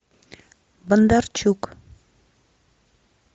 бондарчук